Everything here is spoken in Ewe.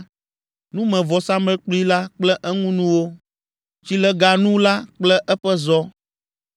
numevɔsamlekpui la kple eŋunuwo, tsileganu la kple eƒe zɔ,